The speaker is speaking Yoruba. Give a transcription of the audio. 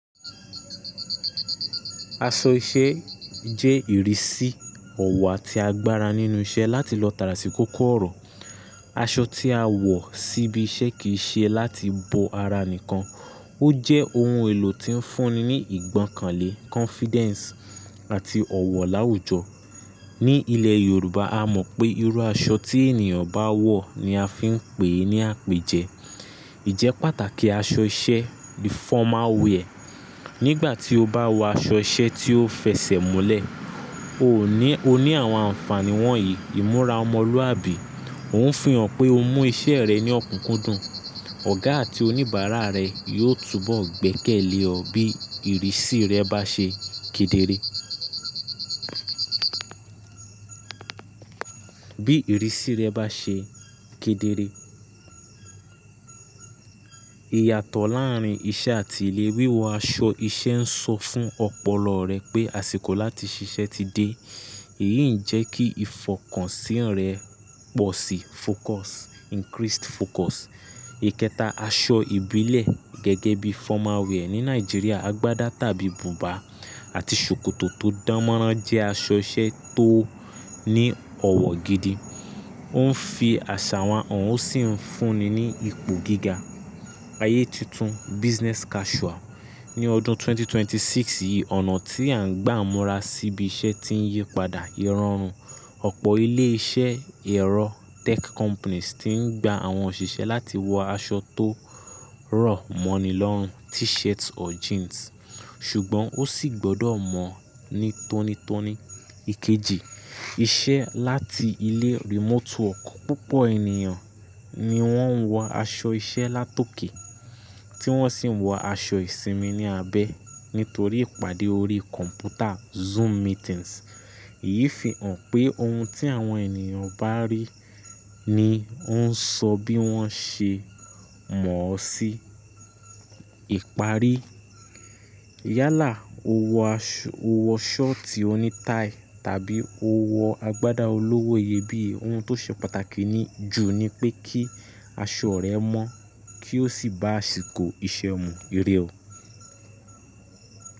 Aṣọ iṣẹ́ jẹ́ ìrísí ọ̀wọ̀ àti agbára nínú iṣẹ́ láti lọ tára sí kókó ọ̀rọ̀. Aṣọ tí a wọ̀ sí ibi iṣẹ́ kì í ṣe láti bo ara nìkan, ó jẹ́ ohun èlò tí ń fúnni ní ìgbọ́kànlé, confidence àti ọ̀wọ̀ láwùjọ. Ni ile yoruba a mo pe iru aso ti eniyan bawo ni a fi n pe ni apeje. Ìjẹ́pàtàkì aṣọ iṣẹ́, the formal wear. Nígbà tí o bá wọ aṣọ iṣẹ́ tí ó fẹsẹ̀múlẹ̀, o ní àwọn ànfàní wọ̀nyí. Ìmúra ọmọlúwàbí, ò ń fi hàn pé o mú iṣẹ́ rẹ ní ọ̀kúnkúndùn. Ọ̀gá àti oníbàárà rẹ yóò túbọ̀ gbẹ́kẹ̀lé ẹ bí ìrísí rẹ bá ṣe kedere. Bí ìrísí rẹ bá ṣe kedere. Iyatọ̀ láàárín iṣẹ́ àti ilé wíwọ aṣọ iṣẹ́ ń sọ fún ọ̀pọ̀lọ́ rẹ pé àsìkò láti ṣiṣẹ́ ti dé. Èyí ń jẹ́ kí ìfọkànsí rẹ pọ̀ sí, focus, increased focus. Ikẹta aṣọ ìbílẹ̀ gẹ́gẹ́ bí formal wear ní Nàìjíríà, agbádá tàbí bùbá àti ṣòkòtò tó dánmọ́rán jẹ́ aṣọ iṣẹ́ tó ní ọ̀wọ̀ gidi. Ó ń fi àṣà wa hàn ó sì ń fúnni ní ipò gíga. Ayé tuntun, business casual. Ni ọdún 2026 yìí, ọ̀nà tí à ń gbà múra sí ibi iṣẹ́ ti ń yípadà. Irorun opo ile ise ero tech company ti n gba awon osise la ti wo aso to ro mani lorun t-shirt or jeans. Ṣùgbọ́n ó sì gbọdọ̀ mọ̀ ní tónítóní. Ikeji, iṣẹ́ láti ilé, remote work. Pupo eniyan ni won wo aso ise latoke ti won si wo asi isinmi ni abe, nitori ipade ori computer zoom meetings. Èyí ń fi hàn pé ohun tí àwọn ènìyàn bá rí ni ó ń sọ bí wọ́n ṣe mọ̀ ọ́ sí. Ipari. Yálà o wọ ṣọ́ọ̀tì oní táì tàbí o wọ agbádá olówó iyebíye, ohun tó ṣe pàtàkì jù ni pé kí aṣọ rẹ mọ́ kí ó sì bá àsìkò iṣẹ́ mu ìrẹ́ o.